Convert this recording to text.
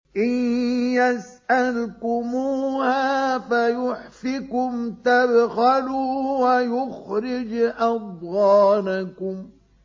إِن يَسْأَلْكُمُوهَا فَيُحْفِكُمْ تَبْخَلُوا وَيُخْرِجْ أَضْغَانَكُمْ